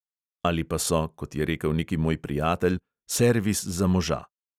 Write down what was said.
Ali pa so, kot je rekel neki moj prijatelj, servis za moža.